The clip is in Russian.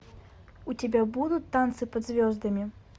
у тебя будут танцы под звездами